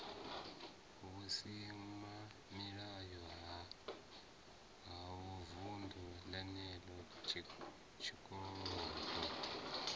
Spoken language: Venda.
vhusimamilayo ha vunḓu lenelo tshikolodo